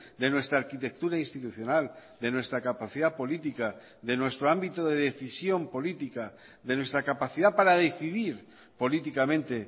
de nuestra arquitectura institucional de nuestra capacidad política de nuestro ámbito de decisión política de nuestra capacidad para decidir políticamente